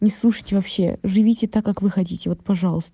не слушайте вообще живите так как вы хотите вот пожалуйс